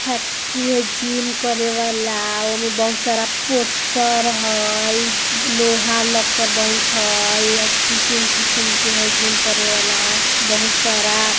फैक्ट्री है जिम करे वला ओमे बहुत सारा पोस्टर हय लोहा लक्कर बहुत हय अ किसिम-किसिम के हय जिम करेवला बहुत सारा --